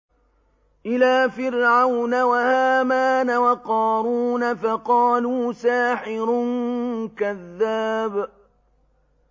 إِلَىٰ فِرْعَوْنَ وَهَامَانَ وَقَارُونَ فَقَالُوا سَاحِرٌ كَذَّابٌ